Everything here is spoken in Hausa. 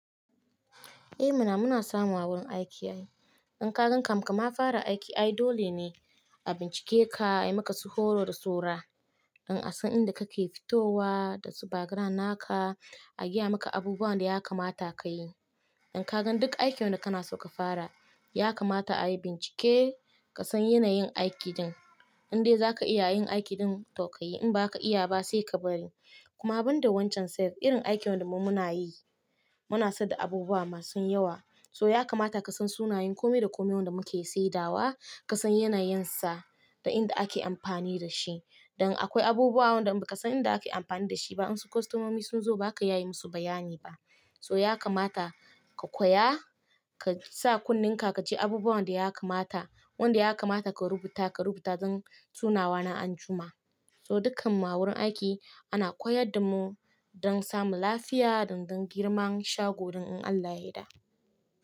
Eh mana, muna samu a wurin aiki ai. In ka gan kam, kama fara aiki ai dole ne a bincike ka, a yi maka su horo da saura. In a san inda ka ke fitowa da su background naka, a gaya maka abubuwan da ya kamata ka yi. In ka gan duk aikin wanda kana so ka fara, ya kamata a yi bincike, ka san yanayin aiki ɗin. Indai za ka iya yin aiki din to kayi, in ba ka iya ba sai ka bari. Kuma banda wancan sai irin aikin wanda mu muna yi, muna saida abubuwa masu yawa. So ya kamata ka san sunayen komai da komai wanda muke saidawa, ka san yanayinsa da inda ake amfani da shi. Dan akwai abubuwa wanda ba ka san inda ake amfani da shi ba, in su kostomomi sun zo ba zaka iya yi musu bayani ba. So ya kamata ka koya, ka sa kunne ka kaji abubuwan da ya kamata, wanda ya kamata ka rubuta, ka rubuta don sunawa na anjima. So dukkan mu a wurin aiki ana koyar da mu don samun lafiya da dan girman shagon in Allah yadda.